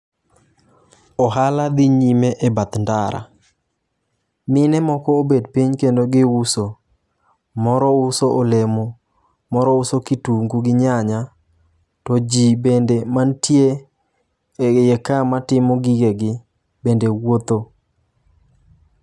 Ohala dhi nyime e bath ndara . Mine moko obet piny kendo giuso .Moro uso olemo, moro uso kitungu gi nyanya to jii bende mantie e iye ka matimo gige gi bende wuotho.